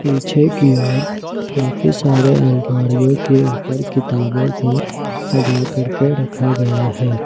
पीछे की ओर काफी सारे अलमारियों के ऊपर किताबों को सजा करके रखा गया है।